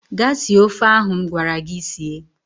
Gaa sie ofe ahụ m gwara gị sie!